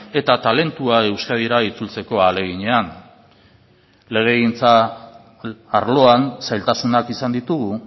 eta talentua euskadira itzultzeko ahaleginean legegintza arloan zailtasunak izan ditugu